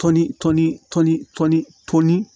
Tɔni tɔni tɔn ni